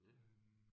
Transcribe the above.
Ja